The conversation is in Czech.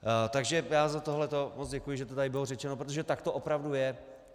Takže já za tohle moc děkuji, že to tady bylo řečeno, protože tak to opravdu je.